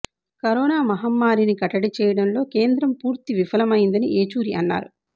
corona మహమ్మారిని కట్టడి చేయడంలో కేంద్రం పూర్తి విఫలమైందని ఏచూరి అన్నారు